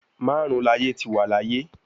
Marun laaye ti wa laaye